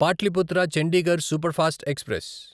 Pataliputra Chandigarh superfast express